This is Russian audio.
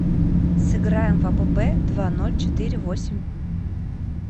сыграем в апп два ноль четыре восемь